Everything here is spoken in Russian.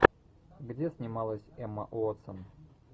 где снималась эмма уотсон